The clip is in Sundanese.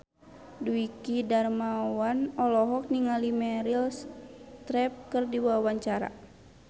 Dwiki Darmawan olohok ningali Meryl Streep keur diwawancara